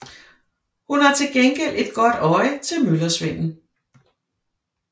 Hun har til gengæld et godt øje til møllersvenden